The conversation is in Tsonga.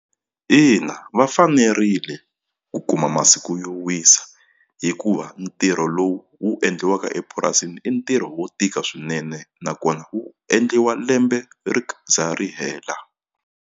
Ina va fanerile ku kuma masiku yo wisa hikuva ntirho lowu wu endliwaka epurasini i ntirho wo tika swinene nakona wu endliwa lembe ri za ri hela.